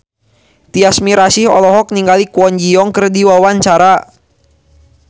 Tyas Mirasih olohok ningali Kwon Ji Yong keur diwawancara